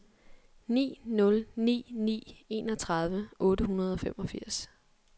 ni nul ni ni enogtredive otte hundrede og femogfirs